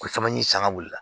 Ko caman ye sangale